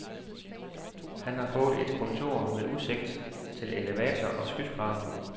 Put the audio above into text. Han har fået et kontor med udsigt til elevator og skyskrabere.